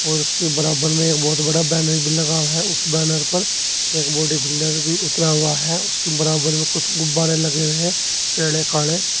और उसके बराबर में एक बोहोत बड़ा बैनर भी लगा हुआ है। उस बैनर पर एक बॉडीबिल्डर भी उतरा हुआ है। उसके बराबर में कुछ गुब्बारें लगे हुए हैं --